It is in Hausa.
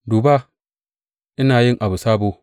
Duba, ina yi abu sabo!